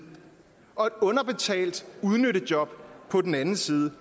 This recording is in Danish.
og et underbetalt udnyttejob på den anden side